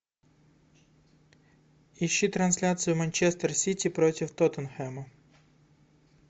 ищи трансляцию манчестер сити против тоттенхэма